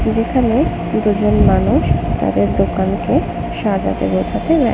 যেখানে দুজন মানুষ তাদের দোকান কে সাজাতে বোঝাতে ব্য --